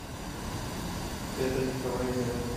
петр николаевич давыдов